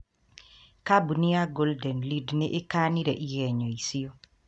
Kambuni ya Golden Lead nĩ ĩkanire igenyo icio.